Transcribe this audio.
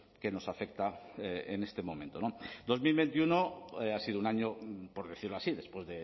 que nos afecta en este momento dos mil veintiuno ha sido un año por decirlo así después